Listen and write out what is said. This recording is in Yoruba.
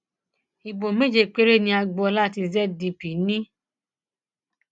ibo méje péré ni agboola tí zdp ní